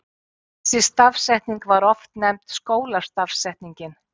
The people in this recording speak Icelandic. Þessi stafsetning var oft nefnd skólastafsetningin.